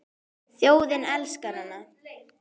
Þjóðin elskar hana.